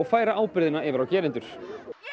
færa ábyrgðina yfir á gerendur